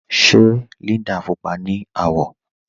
Ṣe Líndà púpọa ni awọ̀?